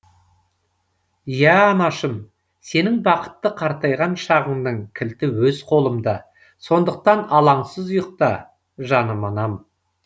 иә анашым сенің бақытты қартайған шағыңның кілті өз қолымда сондықтан алаңсыз ұйықта жаным анам